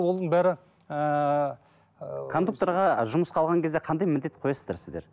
оның бәрі ыыы кондукторға жұмысқа алған кезде қандай міндет қоясыздар сіздер